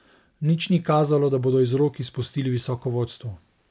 Nič ni kazalo, da bodo iz rok izpustili visoko vodstvo.